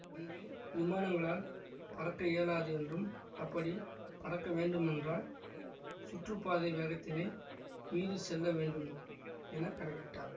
இங்கு விமானங்களால் பறக்க இயலாது என்றும் அப்படி பறக்க வேண்டுமென்றால் சுற்றுப்பாதை வேகத்தினை மீறி செல்ல வேண்டும் என கணக்கிட்டார்